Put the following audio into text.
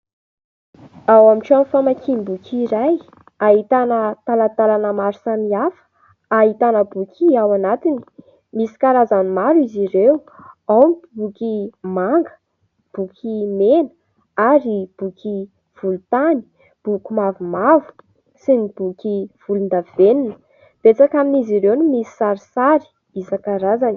Ao amin'ny trano famakiam-boky iray ahitana talantalana maro samihafa, ahitana boky ao anatiny. Misy karazany maro izy ireo : ao ny boky manga, boky mena ary boky volontany, boky mavomavo sy ny boky volondavenona. Betsaka amin'izy ireo no misy sarisary isankarazany.